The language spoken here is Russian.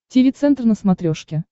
тиви центр на смотрешке